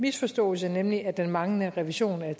misforståelse nemlig at den manglende revision af